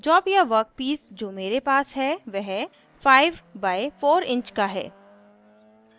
job या workpiece जो मेरे पास है वह 5 बाइ 4 इंच का है